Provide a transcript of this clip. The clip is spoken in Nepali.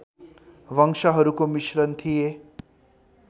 वंशहरूको मिश्रण थिए